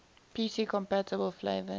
pc compatible flavors